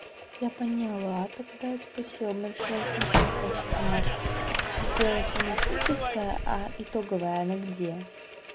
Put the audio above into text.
я поняла тогда спасибо большое смотри я платится маша я сидела тематическая а итоговая она где